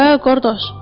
Hə, qardaş.